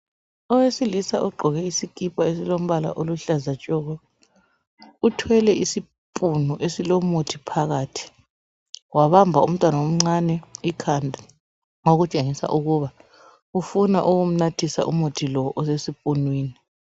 Owesilisa ogqoke isikipa esilombala oluhlaza tshoko uthwele isipunu isilomuthi phakathi wabamba umntwana omncane ikhanda okutshengisa ukuba ufuna ukumnathisa osesipunwini.